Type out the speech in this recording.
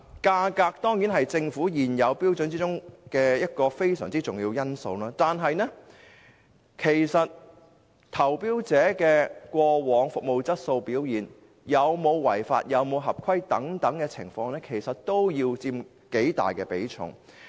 價格當然是在政府現有標準中一個非常重要的因素，但投標者過往的服務質素和表現、有否違法、是否合規等情況也應佔頗大比重。